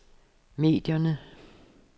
medierne